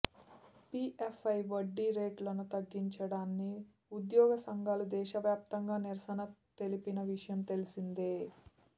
పిఎఫ్పై వడ్డీ రేటును తగ్గించడాన్ని ఉగ్యోగ సంఘాలు దేశవ్యాప్తంగా నిరసన తెలిపిన విషయం తెలిసిందే